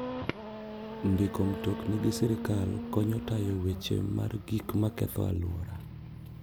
Ndiko mtokni gi sirkal konyo tayo wach mar gik maketho alwora.